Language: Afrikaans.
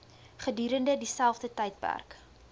gedurende dieselfde tydperk